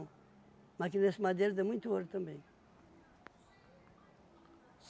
Mas aqui nesse Madeiro tem muito ouro também.